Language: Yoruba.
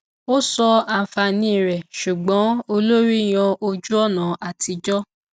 a sọ àǹfààní rẹ ṣùgbọn olórí yan ojúọnà atijọ